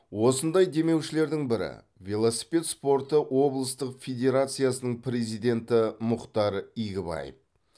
осындай демеушілердің бірі велосипед спорты облыстық федерациясының президенті мұхтар игібаев